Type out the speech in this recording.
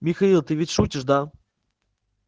михаил ты ведь шутишь да